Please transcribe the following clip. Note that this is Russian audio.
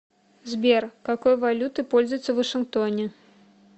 сбер какой валютой пользуются в вашингтоне